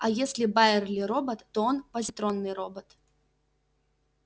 а если байерли робот то он позитронный робот